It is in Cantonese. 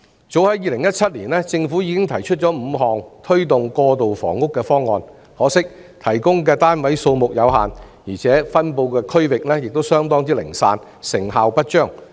早在2017年，政府已經提出5項推動過渡性房屋的方案，可惜提供的單位數目有限，而且分布區域亦相當零散，成效不彰。